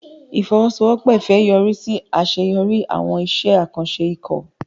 Ìfọwọ́sowọ́pọ̀ Ifẹ̀ yọrí sí àṣeyọrí àwọn iṣẹ́ àkànṣe ikọ̀.